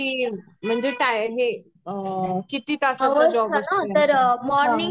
किती म्हणजे काय हे अ किती तासाचा जॉब असतो